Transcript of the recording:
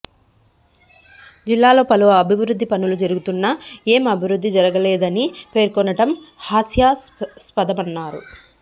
జిల్లాలో పలు అభివృద్ధి పనులు జరుగుతున్నా ఏం అభివృద్ధి జరగలేదని పేర్కొనడం హాస్యాస్పదమన్నారు